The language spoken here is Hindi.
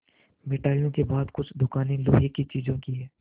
मिठाइयों के बाद कुछ दुकानें लोहे की चीज़ों की हैं